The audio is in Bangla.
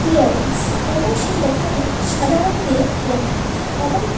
ক্লিয়ারেন্স এবং সেই লেখাটি সাদা রঙ দিয়ে লেখা এবং--